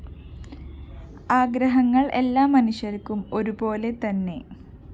ആഗ്രഹങ്ങള്‍ എല്ലാ മനുഷ്യര്‍ക്കും ഒരുപോലെതന്നെ